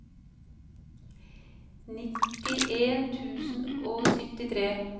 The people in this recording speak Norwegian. nittien tusen og syttitre